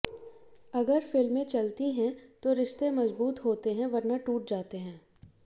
अगर फिल्में चलती हैं तो रिश्ते मजबूत होते हैं वरना टूट जाते हैं